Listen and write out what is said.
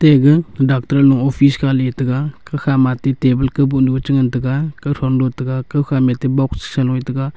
ate aga dacter am office kha le tega gakha age ate table kawboh nu ga che ngan tega kawthonu a taiga kawkha ma ate boxsa sa low a taiga.